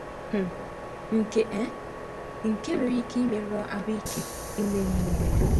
um Nke um Nke a nwere ike imerụ ahụike ime mmụọ ya.